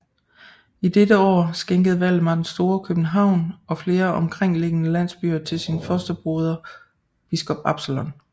I dette år skænkede Valdemar den Store København og flere omkringliggende landsbyer til sin fosterbroder biskop Absalon